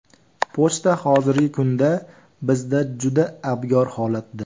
Pochta hozirgi kunda bizda juda abgor holatda.